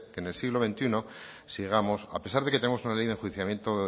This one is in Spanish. que en el siglo veintiuno sigamos a pesar de que tenemos una ley de enjuiciamiento